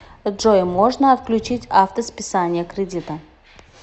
джой можно отключить авто списание кредита